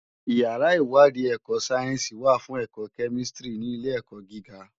Iyàrá iwàdí èkò sáyènsí wá fún èkò kèmístìrí ni ilé èkò gigá